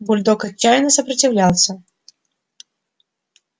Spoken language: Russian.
бульдог отчаянно сопротивлялся